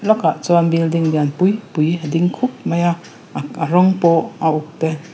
a bul lawkah chuan building lian pui pui a ding khup mai a a rawng pawh a uk te.